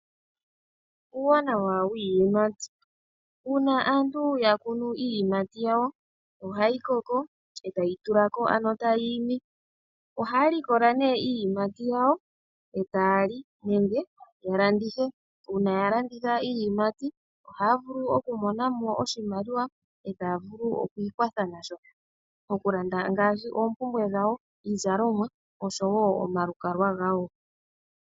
Uuwanawa wiiyimati Uuna aantu ya kunu iiyimati yawo ohayi koko e tayi tula ko, ano tayi imi. Ohaya likola nduno iiyimati yawo e taya li nenge ya landithe. Uuna ya landitha iiyimati ohaya vulu okumona mo oshimaliwa e taya vulu oku ikwatha nasho, okulanda ngaashi oompumbwe dhawo, iizalomwa noshowo omalukalwa gawo.